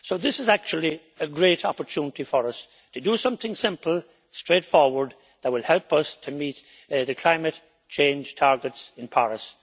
So this is actually a great opportunity for us to do something simple, straightforward, that will help us to meet the climate change targets in Paris.